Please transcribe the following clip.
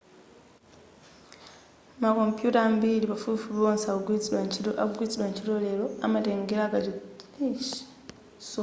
makompuyuta ambiri pafupifupi onse akugwiritsidwa ntchito lero amatengera kuchotsedwa kwa mfundo zomwe zimasungidwa mwa njira ya zokhuza ma nambala a binary